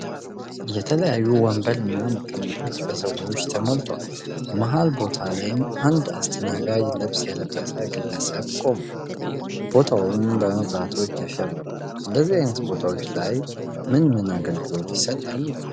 የተለያዩ ወንበር እና መቀመጫዎች በሰዎች ተሞልተዋል። መሃል ቦታ ላይም አንድ የአስተናጋጅ ልብስ የለበሰ ግለሰብ ቆሟል። ቦታውም በመብራቶች አሸብርቋል። እንደዚህ አይነት ቦታዎች ላይ ምን ምን አገልግሎቶች ይሰጣሉ?